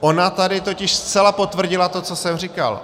Ona tady totiž zcela potvrdila to, co jsem říkal.